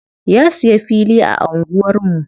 Ya siya fili a anguwar mu.